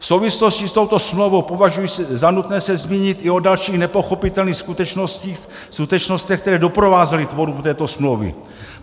V souvislosti s touto smlouvou považuji za nutné se zmínit i o dalších nepochopitelných skutečnostech, které doprovázely tvorbu této smlouvy.